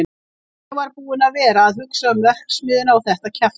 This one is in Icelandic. En ég var búinn að vera að hugsa um. verksmiðjuna og þetta kjaftæði.